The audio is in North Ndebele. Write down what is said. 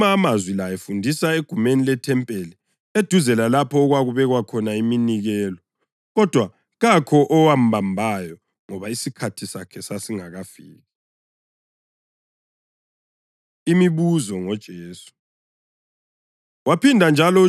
Wawakhuluma amazwi la efundisa egumeni lethempeli eduze lalapho okwakubekwa khona iminikelo. Kodwa kakho owambambayo ngoba isikhathi sakhe sasingakafiki. Imibuzo NgoJesu